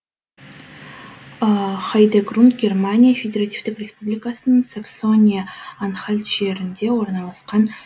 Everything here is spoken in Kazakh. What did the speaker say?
хайдегрунд германия федеративтік республикасының саксония анхальт жерінде орналасқан